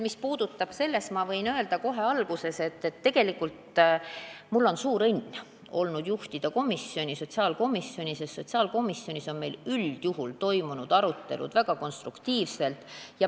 Mis puudutab teie küsimust, siis ma võin öelda kohe alguses, et tegelikult on mul olnud suur õnn juhtida sotsiaalkomisjoni, sest üldjuhul on meil seal arutelud olnud väga konstruktiivsed.